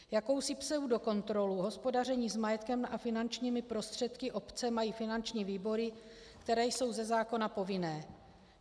Jakousi pseudokontrolu hospodaření s majetkem a finančními prostředky obce mají finanční výbory, které jsou ze zákona povinné.